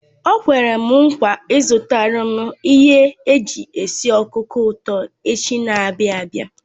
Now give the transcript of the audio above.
O kwere m nkwa izutaram ihe eji esi okuko uto echi n'abia abi